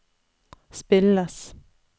spilles